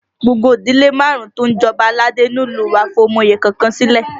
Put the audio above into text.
Gbogbo ìdílé márùn-ún tó ń jẹ Ọba aládé ni ní ìlú u wa fi ọmọ oyè kọ̀ọ̀kan sílẹ̀